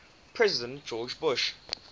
president george bush